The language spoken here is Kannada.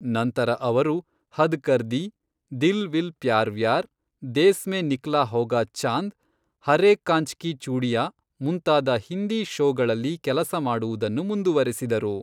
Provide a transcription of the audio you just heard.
ನಂತರ ಅವರು ಹದ್ ಕರ್ ದಿ, ದಿಲ್ ವಿಲ್ ಪ್ಯಾರ್ ವ್ಯಾರ್, ದೇಸ್ ಮೇ ನಿಕ್ಲಾ ಹೋಗಾ ಚಾಂದ್, ಹರೇ ಕ್ಕಾಂಚ್ ಕಿ ಚೂಡಿಂಯಾ ಮುಂತಾದ ಹಿಂದಿ ಶೋಗಳಲ್ಲಿ ಕೆಲಸ ಮಾಡುವುದನ್ನು ಮುಂದುವರೆಸಿದರು.